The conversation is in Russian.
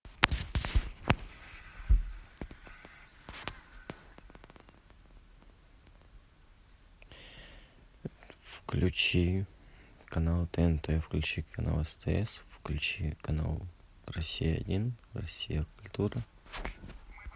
включи канал тнт включи канал стс включи канал россия один россия культура